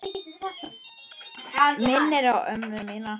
Minnir á ömmu mína.